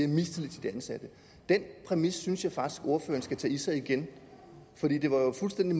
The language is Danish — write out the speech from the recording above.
mistillid til de ansatte den præmis synes jeg faktisk at ordføreren skal tage i sig igen det var jo fuldstændig